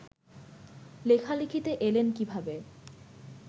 লেখালেখিতে এলেন কীভাবে